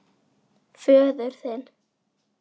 Föður þinn.